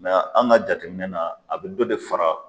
an ka jateminɛ na a bɛ dɔ de fara